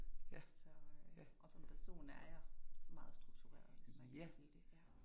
Så og som person er jeg meget struktureret, hvis man kan sige det ja